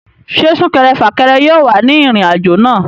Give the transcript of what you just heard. Ṣé súnkẹrẹ fàkẹrẹ yóò wà ní ìrìn àjò náà?